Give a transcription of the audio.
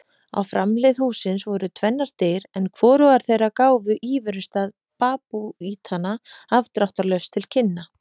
Á framhlið hússins voru tvennar dyr en hvorugar þeirra gáfu íverustað babúítanna afdráttarlaust til kynna.